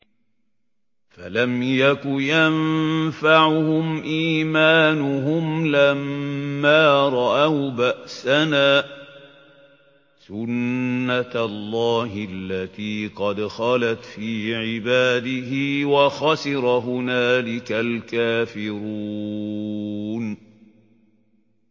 فَلَمْ يَكُ يَنفَعُهُمْ إِيمَانُهُمْ لَمَّا رَأَوْا بَأْسَنَا ۖ سُنَّتَ اللَّهِ الَّتِي قَدْ خَلَتْ فِي عِبَادِهِ ۖ وَخَسِرَ هُنَالِكَ الْكَافِرُونَ